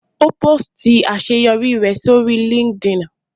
Ó pósìtì àṣeyọrí rẹ̀ sórí LinkedIn